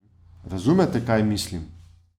Razumete, kaj mislim?